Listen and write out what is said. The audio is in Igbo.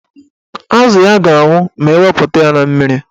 Azụ ya ga-anwụ ma ewepụta ya na mmiri.